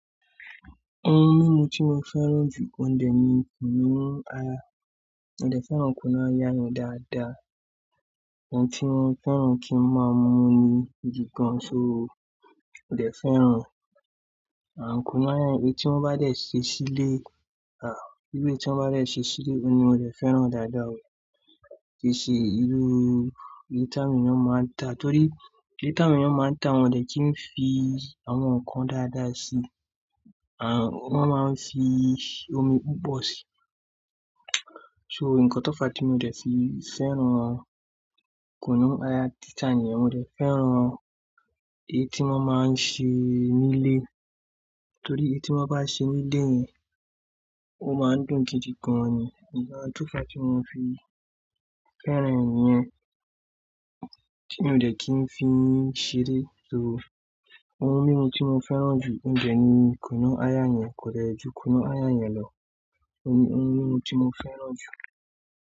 Ohun mímu tí mo fẹ́ràn jù oun dè ni kunu aya. Mo dè fẹ́ràn kunu aya yẹn dáadáa. Ohun tí mo fẹ́ràn kí n máa mú ní igi kan ṣó, mo dẹ̀ fẹ́ràn kunu aya, èyí tí wọ́n bá dẹ̀ ṣe sílé, à, bí ó ti wọ́n bá dẹ̀ ṣe sílé, òun ni mo dẹ̀ fẹ́ràn dáadáa oo. Kì í ṣe ìrú èyí tá mi ni wọ́n máa ń ta, torí èlèyí tá mi ni wọ́n máa ń ta, wọ́n dẹ̀ kí n fi àwọn nǹkan dáadáa sí, à, wọ́n máa ń fi omi púpọ̀ síi. So nǹkan tó fàá tí mo dẹ̀ fi fẹ́ràn kunu aya títa ni yẹn, mo dẹ̀ fẹ́ràn èyí tí wọ́n máa ń ṣe nílé. Torí èyí tí wọ́n bá ṣe nílé yẹn, ó máa dùn gidi gan ni. Nǹkan tó fàá tí mo fi fẹ́ràn rẹ̀ nìyẹn, tí mi ò dé kí n fi ṣeré ṣo. Ohun mímu tí mo fẹ́ràn jù ní óúnjẹ ni kunu aya yẹn kò dẹ̀ ju kunu aya yẹn lọ. Ó ní ohun mímu tí mo fẹ́ràn jù.